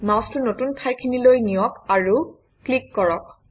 মাউচটো নতুন ঠাইখিনিলৈ নিয়ক আৰু ক্লিক কৰক